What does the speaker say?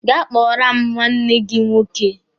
Gaa kpọọrọ m nwa nne gi nwoke!